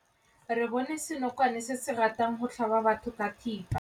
Re bone senokwane se se ratang go tlhaba batho ka thipa.